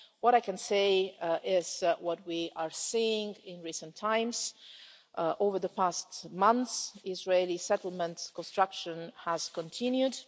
What I can say is what we are seeing in recent times over the past months, the Israeli settlement's construction has continued.